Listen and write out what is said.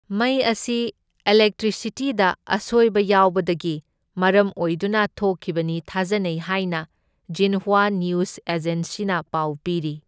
ꯃꯩ ꯑꯁꯤ ꯏꯂꯦꯛꯇ꯭ꯔꯤꯁꯤꯇꯤꯗ ꯑꯁꯣꯢꯕ ꯌꯥꯎꯕꯗꯒꯤ ꯃꯔꯝ ꯑꯣꯏꯗꯨꯅ ꯊꯣꯛꯈꯤꯕꯅꯤ ꯊꯥꯖꯅꯩ ꯍꯥꯢꯅ ꯖꯤꯟꯍ꯭ꯋꯥ ꯅ꯭ꯌꯨꯖ ꯑꯦꯖꯦꯟꯁꯤꯅ ꯄꯥꯎ ꯄꯤꯔꯤ꯫